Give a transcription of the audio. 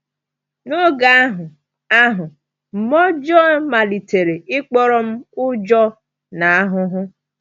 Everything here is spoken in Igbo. N’oge ahụ, ahụ, mmụọ ọjọọ malitere ịkpọrọ m ụjọ na ahụhụ.